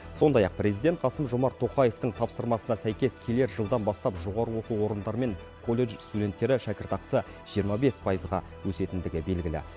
сондай ақ президент қасым жомарт тоқаевтың тапсырмасына сәйкес келер жылдан бастап жоғарғы оқу орындары мен колледж студенттері шәкіртақысы жиырма бес пайызға өсетіндігі белгілі